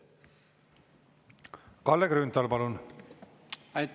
Kalle Grünthal, palun!